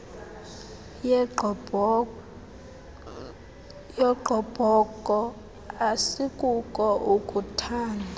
yogqobhoko asikuko ukuuthanda